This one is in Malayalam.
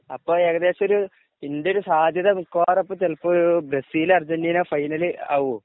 അപ്പൊ ഏകദേശം ഒരു സാത്യത മിക്കവാറും അപ്പൊ ചിലപ്പോ ബ്രസ്സീല് അർജന്റീന ഫൈനൽ ആകുവോ